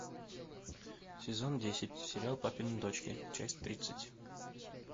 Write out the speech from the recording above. сезон десять сериал папины дочки часть тридцать